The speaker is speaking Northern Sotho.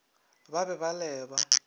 ba be ba le ba